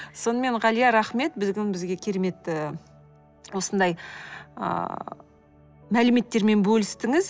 сонымен ғалия рахмет бізге керемет ы осындай ыыы мәліметтермен бөлістіңіз